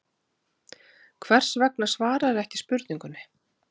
Hvers vegna svararðu ekki spurningunni?